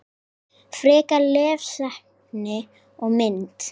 Frekara lesefni og mynd